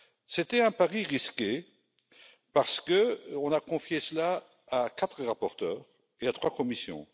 C'était un pari risqué parce qu'on a confié cela à quatre rapporteurs et à trois commissions.